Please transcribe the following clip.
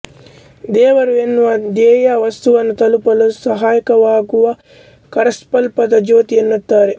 ದೇವರು ಎನ್ನುವ ಧ್ಯೇಯ ವಸ್ತುವನ್ನು ತಲುಪಲು ಸಹಾಯಕವಾಗುವ ಕರಸ್ಥಲದ ಜ್ಯೋತಿ ಎನ್ನುತ್ತಾರೆ